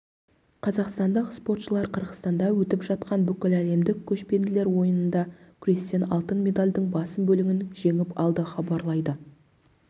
қазақстандық спортшылар қырғызстанда өтіп жатқан бүкіләлемдік көшпенділер ойынында күрестен алтын медальдың басым бөлігін жеңіп алды хабарлайды